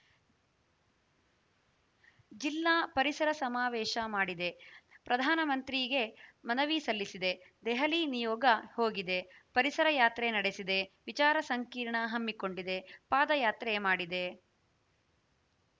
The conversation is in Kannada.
ಜಿಲ್ಲಾ ಪರಿಸರ ಸಮಾವೇಶ ಮಾಡಿದೆ ಪ್ರಧಾನಮಂತ್ರಿಗೆ ಮನವಿ ಸಲ್ಲಿಸಿದೆ ದೆಹಲಿ ನಿಯೋಗ ಹೋಗಿದೆ ಪರಿಸರ ಯಾತ್ರೆ ನಡೆಸಿದೆ ವಿಚಾರ ಸಂಕಿರಣ ಹಮ್ಮಿಕೊಂಡಿದೆ ಪಾದಯಾತ್ರೆ ಮಾಡಿದೆ